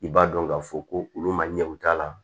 I b'a dɔn k'a fɔ ko olu ma ɲɛ u t'a la